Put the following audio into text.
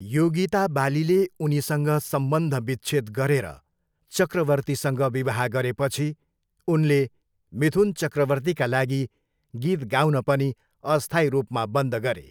योगिता बालीले उनीसँग सम्बन्धविच्छेद गरेर चक्रवर्तीसँग विवाह गरेपछि उनले मिथुन चक्रवर्तीका लागि गीत गाउन पनि अस्थायी रूपमा बन्द गरे।